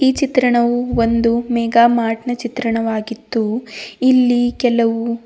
ಈ ಚಿತ್ರಣವು ಒಂದು ಮೇಗಾಮಾರ್ಟ್ನ ಚಿತ್ರಣವಾಗಿದ್ದು ಇಲ್ಲಿ ಕೆಲವು--